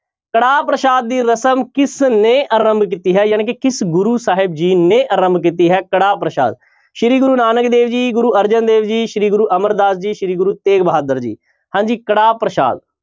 ਕੜਾਹ ਪ੍ਰਸ਼ਾਦ ਦੀ ਰਸਮ ਕਿਸਨੇ ਆਰੰਭ ਕੀਤੀ ਹੈ ਜਾਣੀ ਕਿ ਕਿਸ ਗੁਰੂ ਸਾਹਿਬ ਜੀ ਨੇ ਆਰੰਭ ਕੀਤੀ ਹੈ ਕੜਾਹ ਪ੍ਰਸ਼ਾਦ ਸ੍ਰੀ ਗੁਰੂ ਨਾਨਕ ਦੇਵ ਜੀ, ਗੁਰੁ ਅਰਜਨ ਦੇਵ ਜੀ, ਸ੍ਰੀ ਗੁਰੂ ਅਮਰਦਾਸ ਜੀ, ਸ੍ਰੀ ਗੁਰੂ ਤੇਗ ਬਹਾਦਰ ਜੀ ਹਾਂਜੀ ਕੜਾਹ ਪ੍ਰਸ਼ਾਦ।